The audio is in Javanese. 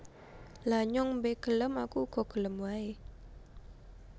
Lha nyong be gelem Aku uga gelem wae